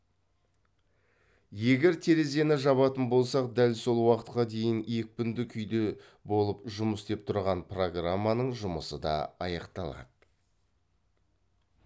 егер терезені жабатын болсақ дәл сол уақытқа дейін екпінді күйде болып жұмыс істеп тұрған программаның жұмысы да аяқталады